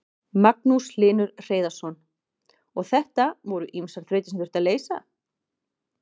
Magnús Hlynur Hreiðarsson: Og þetta voru ýmsar þrautir sem þurfti að leysa?